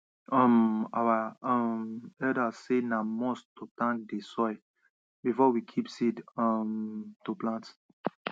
um our um elders say na must to thank dey soil before we kip seed um to plant